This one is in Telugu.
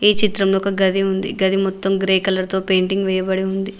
ఈ చిత్రంలో ఒక గది ఉంది గది మొత్తం గ్రే కలర్ తో పెయింటింగ్ వేయబడి ఉంది.